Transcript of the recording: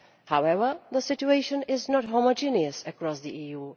However, the situation is not homogeneous across the